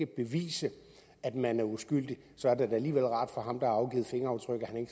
bevise at man er uskyldig så er det da alligevel rart for ham der har afgivet fingeraftryk at han